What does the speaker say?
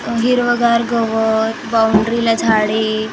अ हिरवंगार गवत बाऊंडरीला झाडे फुले --